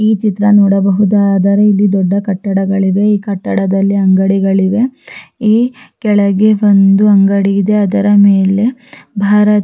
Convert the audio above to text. ಚಿತ್ರ ನೋಡಬಹುದಾದರೆ ಇಲ್ಲಿ ದೊಡ್ಡ ಕಟ್ಟಡಗಳಿವೆ ಈ ಕಟ್ಟಡದಲ್ಲಿ ಅಂಗಡಿಗಳಿವೆ ಈ ಕೆಳಗೆ ಒಂದು ಅಂಗಡಿ ಇದೆ ಅದರ ಮೇಲೆ ಭಾರತ್--